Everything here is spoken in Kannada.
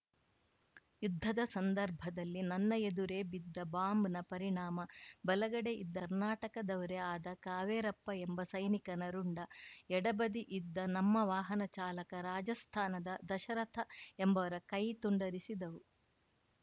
ಯುದ್ಧದ ಸಂದರ್ಭದಲ್ಲಿ ನನ್ನ ಎದುರೇ ಬಿದ್ದ ಬಾಂಬ್‌ನ ಪರಿಣಾಮ ಬಲಗಡೆ ಇದ್ದ ಕರ್ನಾಟಕದವರೇ ಆದ ಕಾವೇರಪ್ಪ ಎಂಬ ಸೈನಿಕನ ರುಂಡ ಎಡಬದಿ ಇದ್ದ ನಮ್ಮ ವಾಹನ ಚಾಲಕ ರಾಜಸ್ಥಾನದ ದಶರಥ ಎಂಬುವರ ಕೈ ತುಂಡರಿಸಿದವು